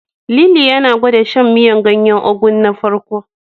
Lili yana gwanda shan miyar ganyen Ugu na farko.